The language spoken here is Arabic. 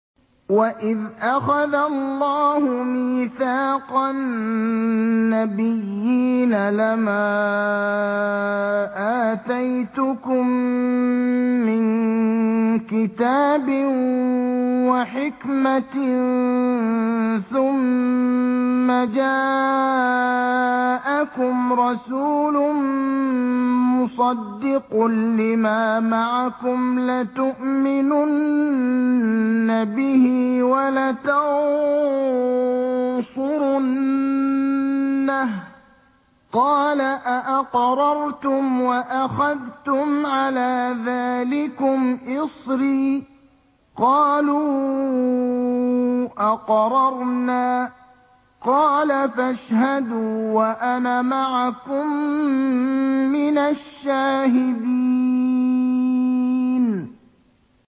وَإِذْ أَخَذَ اللَّهُ مِيثَاقَ النَّبِيِّينَ لَمَا آتَيْتُكُم مِّن كِتَابٍ وَحِكْمَةٍ ثُمَّ جَاءَكُمْ رَسُولٌ مُّصَدِّقٌ لِّمَا مَعَكُمْ لَتُؤْمِنُنَّ بِهِ وَلَتَنصُرُنَّهُ ۚ قَالَ أَأَقْرَرْتُمْ وَأَخَذْتُمْ عَلَىٰ ذَٰلِكُمْ إِصْرِي ۖ قَالُوا أَقْرَرْنَا ۚ قَالَ فَاشْهَدُوا وَأَنَا مَعَكُم مِّنَ الشَّاهِدِينَ